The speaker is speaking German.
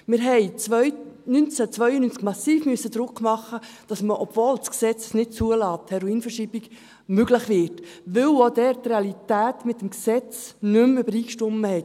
Wir mussten 1992 massiv Druck machen, damit, die Heroinverschreibung möglich wurde, obwohl es das Gesetz nicht zuliess, weil auch dort die Realität mit dem Gesetz nicht mehr übereinstimmte.